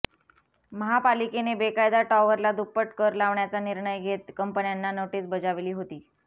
महापालिकेने बेकायदा टॉवरला दुप्पट कर लावण्याचा निर्णय घेत कंपन्यांना नोटीस बजावली होती